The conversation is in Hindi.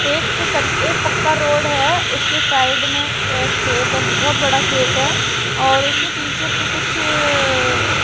एक क एक पक्का रोड है उसके साइड में एक खेत है बहुत बड़ा खेत है और उसके पीछे पे कुछ--